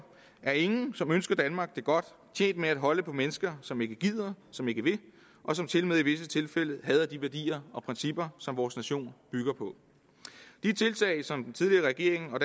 er ingen som ønsker danmark det godt tjent med at holde på mennesker som ikke gider som ikke vil og som tilmed i visse tilfælde hader de værdier og principper som vores nation bygger på de tiltag som den tidligere regering og